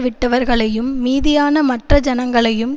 விட்டவர்களையும் மீதியான மற்ற ஜனங்களையும்